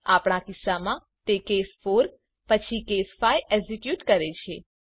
આપણા કિસ્સામાં તે કેસ 4 પછી કેસ 5 એક્ઝીક્યુટ કરે છે